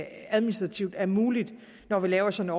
administrativt er muligt når vi laver sådan